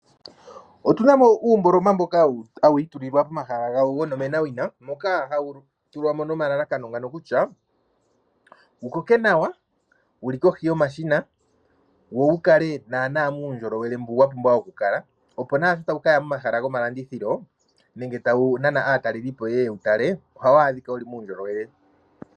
Otuna mo uumboloma mboka hawii tulilwa pomahala gawo gonomenawina, moka hawu tulwamo nomalalakano ngano kutya, wukoke nawa wuli kohi yomashina wo wukale naana muundjolowele mboka wapumbwa oku kala, opo sho tawu kaya momahala gomalandithilo nenge tawu nana aatalelipo yeye yewutale, ohawu adhika wuli muundjolowele.